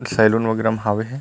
Saloon वगेरा में हावे हे।